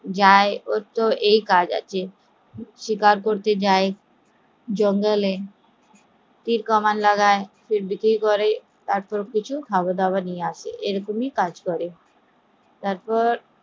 যা ওর তো এই কাজ আছে, কাজ করতে যায় জঙ্গল এ, তীর কামান লাগে বিক্রি করে তার পর কিছু খাবার নিয়ে আসে